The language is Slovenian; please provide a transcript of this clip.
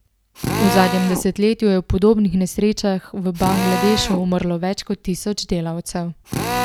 V zadnjem desetletju je v podobnih nesrečah v Bangladešu umrlo več kot tisoč delavcev.